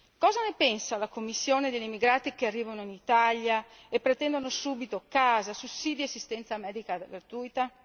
Cosa ne pensa la Commissione degli emigrati che arrivano in Italia e pretendono subito casa, sussidi e assistenza medica gratuita?